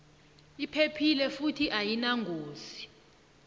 iphephile futhi ayinangozi